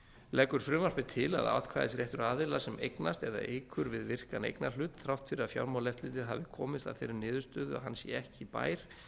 leggur frumvarpið til að atkvæðisréttur aðila sem eignast eða eykur við virkan eignarhlut þrátt fyrir að fjármálaeftirlitið hafi komist að þeirri niðurstöðu að hann sé ekki bær